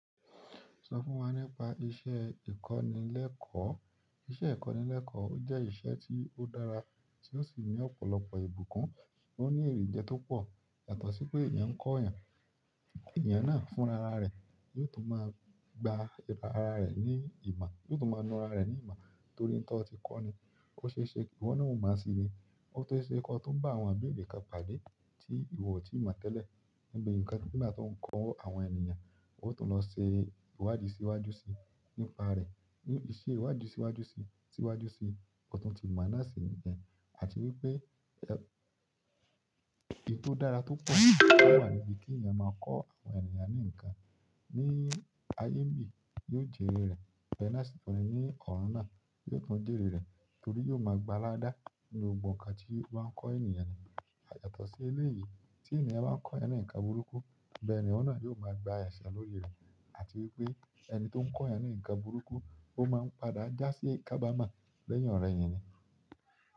Sọ fún wa nípa iṣẹ́ ìkọ́nilẹ́kọ̀ọ́. Iṣẹ́ ìkọ́nilẹ́kọ̀ọ́ ó jẹ́ iṣẹ́ tí ó dára tí ó sì ní ọ̀pọ̀lọpọ̀ ìbùkún, o nii ere jẹ tó pọ̀. Yàtọ̀ sí pé èèyàn ń kọ̀ èèyàn, èèyàn náà fún rara rẹ̀ yóò tún máa gba ara rẹ̀ ní ìmọ̀, yóò tún máa na ara rẹ̀ ní ìmọ̀ torí oun tó ti kọ́ni. Ó ṣe é ṣe kí wọn náà ó mọ̀ síi ni, ó sì ṣe kí wọ́n tó bá àwọn ìbéèrè kan pàdé tí ìwọ ò tíì mọ̀ tẹ́lẹ̀ níbi ǹkan nígbà tó ń kọ́ àwọn ènìyàn, ó tún lọ ṣe ìwádìí síwájú síi nípa rẹ̀, ní iṣẹ́ ìwádìí síwájú síi, síwájú síi ọ̀tún ti mo náà si niyen ni àti wípé oun tó dára tó pọ̀ wà níbí tí èèyàn máa kọ́ àwọn èeyàn ní ǹkan. Ní ayé ńbí yóò jèrè rẹ̀, bẹ́ẹ̀ náà sì tún rẹ ní ọ̀run náà yóò tún jèrè rẹ̀ torí yóò ma gba ládàá nínú gbogbo ǹkan tí ó bá ń kọ́ ènìyàn náà. Yàtọ̀ sí ilé yìí tí èèyàn bá ń kọ́ ẹnì ǹkan burúkú bẹ́ẹ̀ ènìyàn náà yóò máa gba ẹ̀ṣẹ̀ lórí rẹ̀ àti wípé ẹni tó ń kọ́ ẹnì ǹkan burúkú ó máa ń padà já sí ikabamọ́ lẹ́yìn oro eyin ni.